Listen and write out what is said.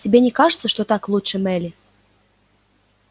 тебе не кажется что так лучше мелли